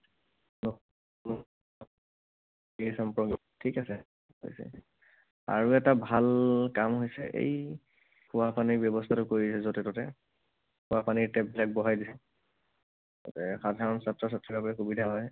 ঠিক আছে? ঠিক আছে। আৰু এটা ভাল কম হৈছে এই খোৱা পানীৰ ব্যৱস্থাটো কৰি দিলে য'তে ত'তে। খুৱাপানীৰ tap বিলাক বহাই দিলে। যাতে সাধাৰণ ছাত্ৰ ছাত্ৰীৰ বাবে সুবিধা হয়।